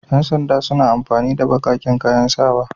Yan sanda suna amfani da baƙaƙen kayan sawa.